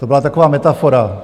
To byla taková metafora.